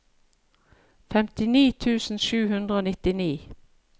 femtini tusen sju hundre og nittini